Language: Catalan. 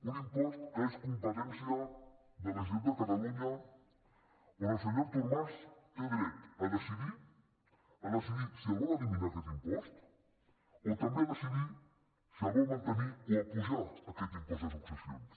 un impost que és competència de la generalitat de catalunya on el senyor artur mas té dret a decidir si el vol eliminar aquest impost o també a decidir si el vol mantenir o apujar aquest impost de successions